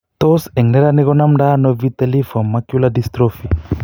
Tos en neranik ko namndo ano vitelliform macular dystrophy